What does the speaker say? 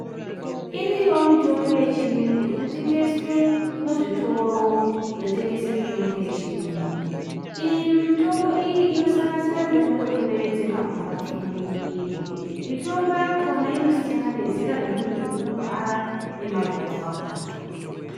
Iriyowo mutombo yechiyungu initengeswe muzvitoro zvinotengesa mutombo yechiyungu. Iyi mitombo iyi inosanganisira mitombo inoderedza marwadzo mumwiri. Mutombo yakona inosiyana nezera remuntu unorwara nemarwadzo akhona.